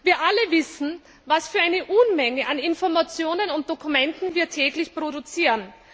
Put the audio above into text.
Wir alle wissen, was für eine Unmenge an Informationen und Dokumenten wir täglich produzieren.